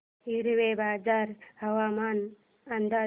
हिवरेबाजार हवामान अंदाज